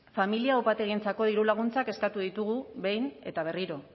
familia upategientzako dirulaguntzak eskatu ditugu behin eta berriro